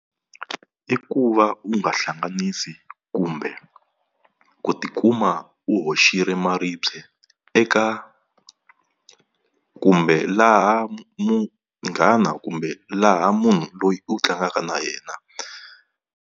I ku va u nga hlanganisi kumbe ku tikuma u hoxile maribye eka, kumbe laha munghana kumbe laha munhu loyi u tlangaka na yena.